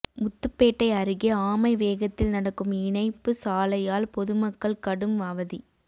முத்துப்பேட்டை அருகே ஆமை வேகத்தில் நடக்கும் இணைப்பு சாலையால் பொதுமக்கள் கடும் அவதி